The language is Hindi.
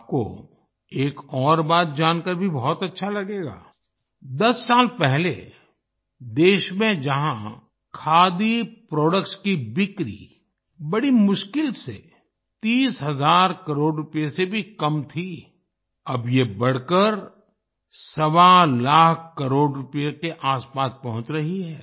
आपको एक और बात जानकार भी बहुत अच्छा लगेगा दस साल पहले देश में जहां खादी प्रोडक्ट्स की बिक्री बड़ी मुश्किल से 30 हजार करोड़ रुपये से भी कम की थी अब ये बढ़कर सवा लाख करोड़ रूपए के आसपास पहुँच रही है